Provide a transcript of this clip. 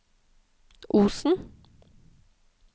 Osen